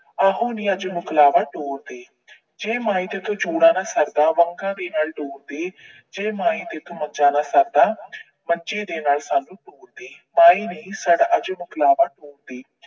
ਆਹੋ ਨੀ ਅੱਜ ਮਕਲਾਬਾ ਤੋਰ ਦੇ। ਜੇ ਮਾਏ ਤੇਰੇ ਤੋਂ ਚੂੜਾ ਨਾ ਸਰਦਾ, ਵੰਗਾਂ ਦੇ ਨਾਲ ਤੋਰ ਦੇ। ਜੇ ਮਾਏ ਤੇਰੇ ਤੋਂ ਮੰਜਾ ਨਾ ਸਰਦਾ, ਮੰਜੀ ਦੇ ਨਾਲ ਸਾਨੂੰ ਤੋਰ ਦੇ। ਮਾਏ ਨੀ ਸਾਡਾ ਅੱਜ ਮਕਲਾਬਾ ਤੋਰ ਦੇ।